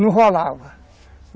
Não rolava.